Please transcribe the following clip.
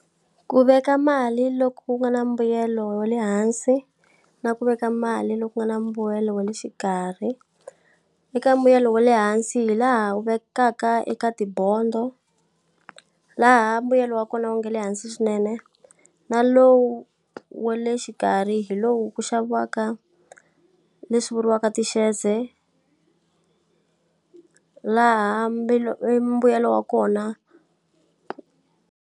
Ku veka mali lo ku ku nga na mbuyelo wa le hansi, na ku veka mali lo ku ku nga na mbuyelo wa le xikarhi. Eka mbuyelo wa le hansi hi laha u vekaka eka tibodo, laha mbuyelo wa kona wu nga le hansi swinene. Na lowu wa le xikarhi hi lowu ku xaviwaka leswi vuriwaka ti-shares-e laha mbuyelo wa kona.